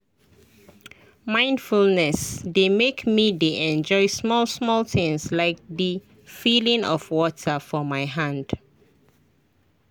mindfulness dey make me dey enjoy small-small things like the feeling of water for my hand.